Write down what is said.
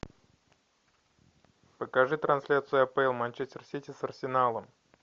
покажи трансляцию апл манчестер сити с арсеналом